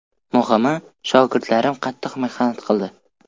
Muhimi, shogirdlarim qattiq mehnat qildi.